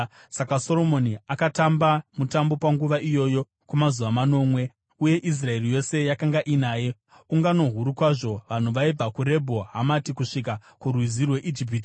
Saka Soromoni akatamba mutambo panguva iyoyo kwamazuva manomwe, uye Israeri yose yakanga inaye, ungano huru kwazvo, vanhu vaibva kuRebho Hamati kusvika kuRwizi rweIjipiti.